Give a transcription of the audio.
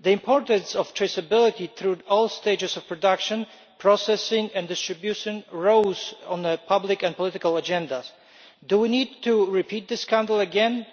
The importance of traceability through all stages of production, processing and distribution rose on the public and political agenda. Do we need to repeat this scandal again